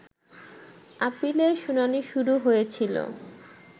আপিলের শুনানি শুরু হয়েছিল